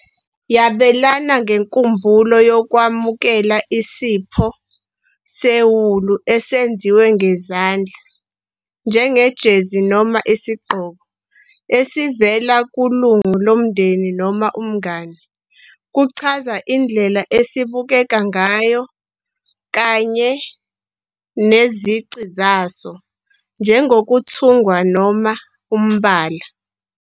Yabelana ngenkumbulo yokwamukela isipho sewulu esenziwe ngezandla, njengejezi noma isigqoko, esivela kulungu lomndeni noma umngane. Kuchaza indlela esibukeka ngayo, kanye nezici zaso, njengokuthungwa noma umbala.